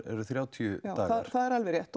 þrjátíu dagar það er alveg rétt